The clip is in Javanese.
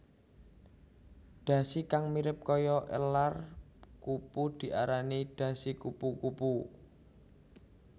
Dhasi kang mirip kaya elar kupu diarani dhasi kupu kupu